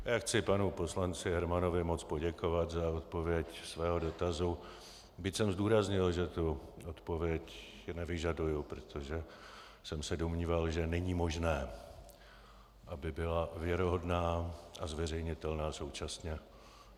Já chci panu poslanci Hermanovi moc poděkovat za odpověď svého dotazu, byť jsem zdůraznil, že tu odpověď nevyžaduji, protože jsem se domníval, že není možné, aby byla věrohodná a zveřejnitelná současně.